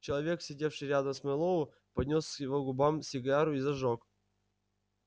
человек сидевший рядом с мэллоу поднёс к его губам сигару и зажёг